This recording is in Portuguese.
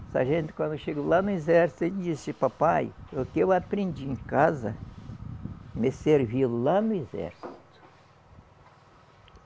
O sargento quando chegou lá no exército, ele disse, papai, o que eu aprendi em casa, me serviu lá no exército.